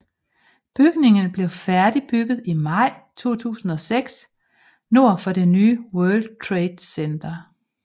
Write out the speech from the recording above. Bygningen blev færdigbygget i maj 2006 nord for det nye World Trade Center